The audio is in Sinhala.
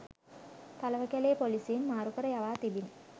තලවකැලේ පොලිසියෙන් මාරුකර යවා තිබිණි